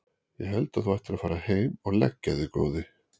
Ég held að þú ættir að fara heim og leggja þig góði!